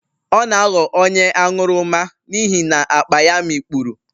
Ọ na-aghọ onye aṅụrụma n'ihi na akpa ya mikpuru.